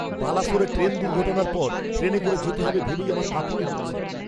বালাসোরে train দুর্ঘটনার পর, ট্রেনে করে যেতে হবে ভেবেই আমার কাঁপুনি হচ্ছে!